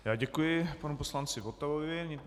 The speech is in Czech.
Já děkuji panu poslanci Votavovi.